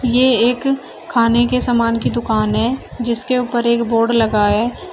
ये एक खाने के सामान की दुकान है जिसके ऊपर एक बोर्ड लगा है।